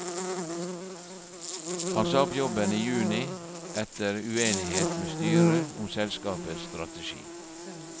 Han sa opp jobben i juni etter uenighet med styret om selskapets strategi.